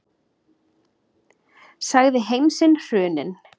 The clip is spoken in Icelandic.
Sagði heim sinn hruninn.